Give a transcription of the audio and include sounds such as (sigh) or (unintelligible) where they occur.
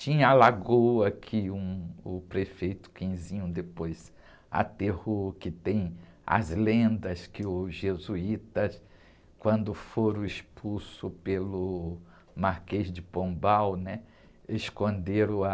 Tinha a lagoa que um, o prefeito (unintelligible) depois aterrou, que tem as lendas que os jesuítas, quando foram expulsos pelo Marquês de Pombal, né? Esconderam a...